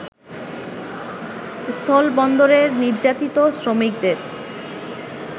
স্থলবন্দরের নির্যাতিত শ্রমিকদের